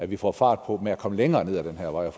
vi får fart på med at komme længere ned ad den her vej